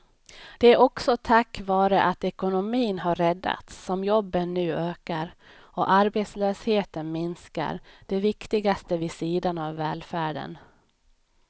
Det är också tack vare att ekonomin har räddats som jobben nu ökar och arbetslösheten minskar, det viktigaste vid sidan av välfärden.